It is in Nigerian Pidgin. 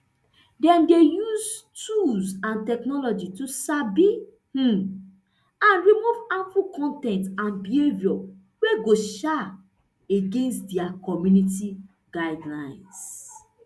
dem dey use use tools and technology to sabi um and remove harmful con ten t and behaviour wey go um against dia community guidelines